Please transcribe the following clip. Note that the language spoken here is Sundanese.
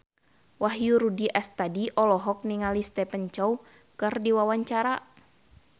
Wahyu Rudi Astadi olohok ningali Stephen Chow keur diwawancara